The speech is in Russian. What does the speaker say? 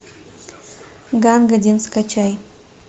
ганг один скачай